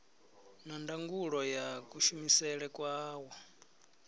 na ndangulo ya kushumisele kwawo